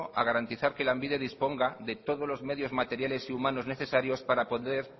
a garantizar que lanbide disponga de todos los medios materiales y humanos necesarios para poder